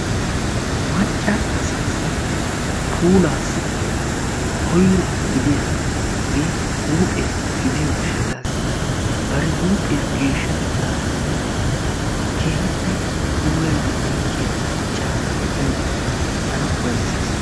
Macca asaasi puulaasi koyro gidiyaagee huphphiyaa gidiyoo gishshaatasi bari huuphphiyaa geeshshatetaninne keehippe puulayidi oyqqiyaa macca asaa be'iyoode tana ufayssees.